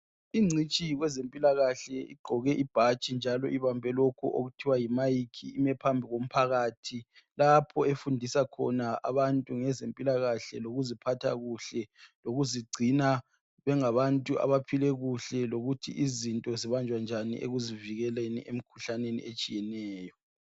incitshi kwezempilakahle igqoke ibhatshi njalo ibambe lokhu okuthiwa yi mic ume phambi komphakathi lapho efundisa khona abantu ngezempilakahle lokuziphatha kuhle lokuzigcina bengabantu abaphile kuhle lokuthi izinto zibanjwa njani ekuzivikeleni emkhuhlaneneni etshiyeneyo